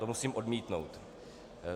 To musím odmítnout.